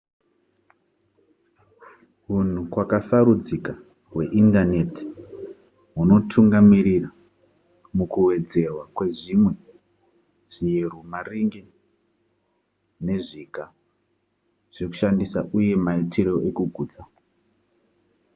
hunhu kwakasarudzika hweindaneti hunotungamirira mukuwedzerwa kwezvimwe zviyero maringe nezviga zvekushandisa uye maitiro ekugutsa